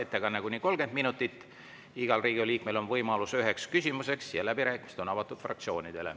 Ettekanne on kuni 30 minutit, igal Riigikogu liikmel on võimalus esitada üks küsimus ja läbirääkimised on avatud fraktsioonidele.